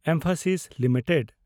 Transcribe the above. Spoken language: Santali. ᱮᱢᱯᱷᱮᱥᱤᱥ ᱞᱤᱢᱤᱴᱮᱰ